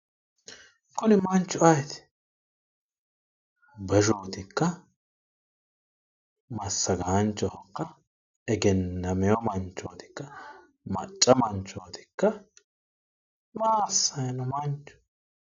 Kuni manchu ayeeti? beshootikka? Massagaanchohokka? egennameyo manchoitikka? Macca manchootikka? Maa assaayi no Manchu?